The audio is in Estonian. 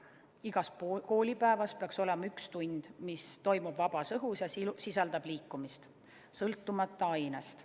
Igas koolipäevas peaks olema üks tund, mis toimub vabas õhus ja sisaldab liikumist, sõltumata ainest.